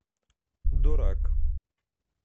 дурак